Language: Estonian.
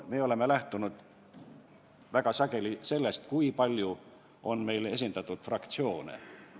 Me oleme väga sageli lähtunud sellest, kui palju on meil fraktsioone.